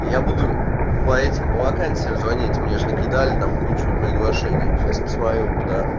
я буду по этим по вакансиям звонить мне же накидали там кучу приглашений сейчас посмотрю куда